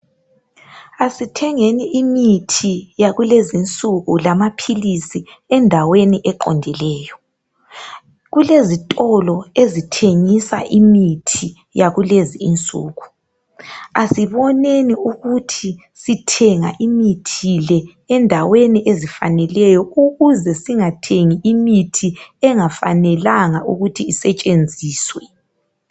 Asithengeni imithi yakulezi nsuku lamaphilisi endaweni eqondileyo kulezitolo ezithengisa imithi yakulezi nsuku asiboneni ukuthi sithenga imithi le endaweni ezifaneleyo ukuze singathengi imithi engafanelanga ukuthi isetshenziswe